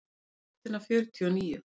Hver er rótin af fjörtíu og níu?